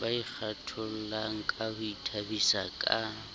ba ikgathollangka ho ithabisa ka